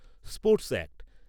sports act